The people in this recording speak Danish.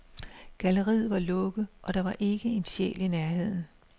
Galleriet var lukket, og der var ikke en sjæl i nærheden.